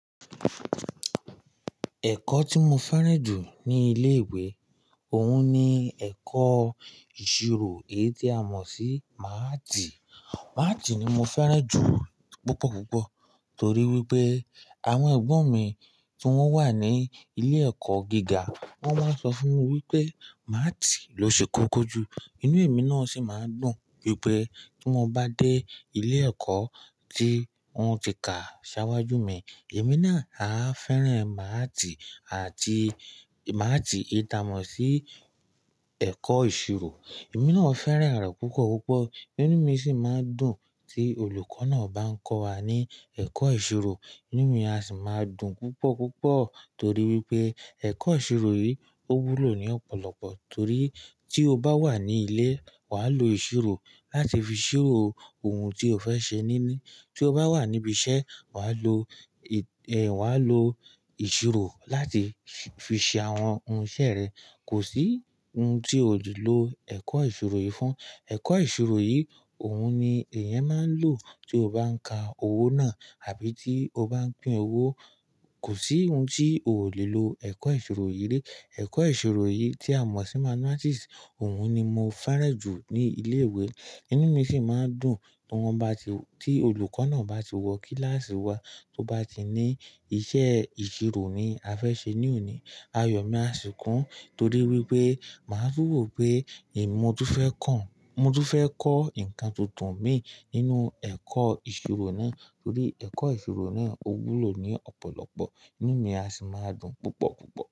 Ẹ̀kọ́ tí mo fẹ́ràn jù ní ilé-ìwé, òun ni ẹ̀kọ́ ìṣirò èyí tí a mọ̀ sí máátì. Máátì ni mo fẹ́ràn jù púpọ̀, púpọ̀. Tórí wípé, àwọn ẹ̀gbọ́n mi tí wọ́n wà ní ilé-ẹ̀kọ́ gíga, wọ́n máa ń sọ fún mi pé máátì ló ṣe kókó jù. Inú emi náà sì máa ń dùn pé tí mo bá dé ilé ẹ̀kọ́ tí wọ́n ti kà ṣáwájú mi, èmi náà á fẹ́ràn máátì àti máátì èyí ta mọ̀ sí ẹ̀kọ́ ìṣirò. Èmi náà fẹ́ràn rẹ̀ púpọ̀, púpọ̀. Inú mi sì máa dùn tí olùkọ́ náà bá ń kọ́ wa ní ẹ̀kọ́ ìṣirò. Inú mi à sí máa dùn púpọ̀, púpọ̀. Tórí wipé, ẹ̀kọ́ ìṣirò yìí, ó wúlò ní ọ̀pọ̀lọpọ̀. Torí tí ó bá wà ní ilé, wà á lo ìṣirò láti fi ṣirò ohun tí ó fẹ́ ṣe níní. Tí ó bá wà níbi iṣẹ́, wà á lo, wà á lo ìṣirò láti fi ṣe àwọn ohun iṣẹ́ rẹ̀. Kò sí ohun tí ò lè lò ẹ̀kọ́ ìṣirò yìí fún. Ẹ̀kọ́ ìṣirò yìí, òun ni èèyàn máa ń lò tí ó bá ń ka owó náà àbí tí ó bá ń pín owó. Kò sí ohun tí ò le lo ẹ̀kọ́ ìṣirò yìí lè. Ẹ̀kọ́ ìṣirò yìí tí a mọ̀ sí mathematics, òun ni mo fẹ́ràn jù ní ilé ìwé. Inú mi ṣì máa dùn tí wọ́n bá ti, tí olùkọ́ náà bá ti wọ kíláàsì wa, tó bá ti ní iṣẹ́ ìṣirò ni a fẹ́ ṣe ní òní. Ayọ̀ mi á ṣì kún, torí wipé, màá tún wò pé, mọ̀ túfẹ́ kàn. Mo tú fẹ́ kọ́ nǹkan tuntun míi nínú ẹ̀kọ́ ìṣirò náà. Torí ẹ̀kọ́ ìṣirò náà ó wúlò ní ọ̀pọ̀lọpọ̀. Inú mi á ṣì máa dùn púpọ̀, púpọ̀.